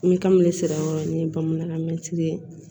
N bɛ kami de sera hɔrɔn ye bamanankan mɛtiri ye